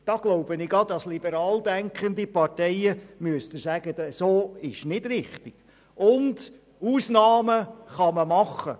Hier glaube ich, dass Sie als liberal denkende Parteien der gegenteiligen Meinung sein müssen.